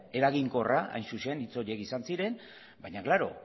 eraginkorra hain zuzen hitz horiek izan ziren baina klaro